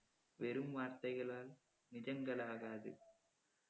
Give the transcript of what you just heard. வெறும் வார்த்தைககளால் நிஜங்கள் ஆகாது